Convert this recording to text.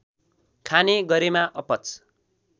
खाने गरेमा अपच